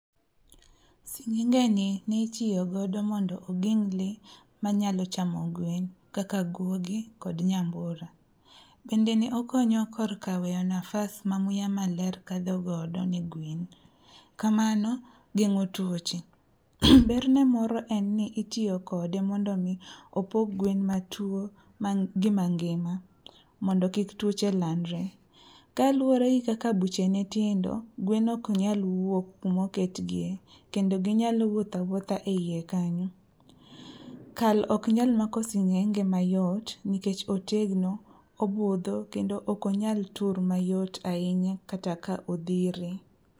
Sing'engeni nitiyogodo mondo ogeng' lee manyalo chamo gwen kaka guogi kod nyambura. Bende ne okonyo korka weyo nafas ma muya maler kadhogodo ne gwen, kamano geng'o tuoche. Ber ne moro en ni itiyo kode mondo omi opog gwen matuo gi mangima mondo kik tuoche landre. Kaluwore gi kaka buchene tindo, gwen oknyal wuok kumoketgiye kendo ginyalo wuotho awuotha e iye kanyo. Kal oknyal makomsing'enge mayot nikech otegno, obudho kendo okonyal tur mayot ahinya kata ka odhire.